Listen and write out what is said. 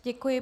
Děkuji.